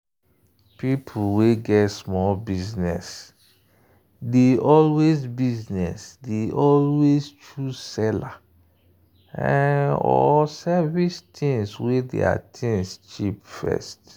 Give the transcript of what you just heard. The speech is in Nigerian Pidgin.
people wey get small business dey always business dey always choose seller or service things wey their things cheap first.